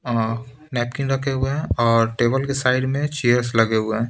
अ napkin रखे हुए हैं और टेबल के साइड में चेयर्स लगे हुए हैं।